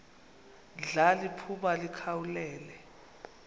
ndla liphuma likhawulele